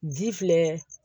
Ji filɛ